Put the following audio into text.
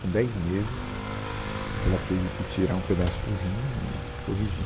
Com dez meses, ela teve que tirar um pedaço do rim e corrigir.